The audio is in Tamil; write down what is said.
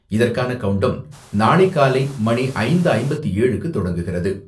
இதற்கான கவுண்டவுன் நாளை காலை மணி ஐந்து ஐம்பத்தி ஏழுக்கு தொடங்குகிறது.